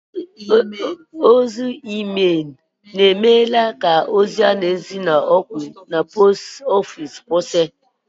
Ozi leta ikuku emeela ka ide leta mkpịsị aka ma site n'ụlọọrụ post ofiisi kwụsịtụ